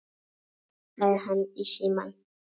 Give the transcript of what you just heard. sagði hann í símann.